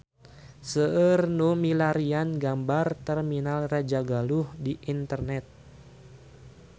Seueur nu milarian gambar Terminal Rajagaluh di internet